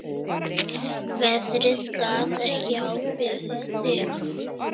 Veðrið gat ekki ákveðið sig.